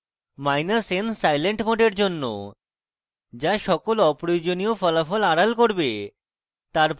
minus n silent mode জন্য যা সকল অপ্রয়োজনীয় ফলাফল আড়াল করবে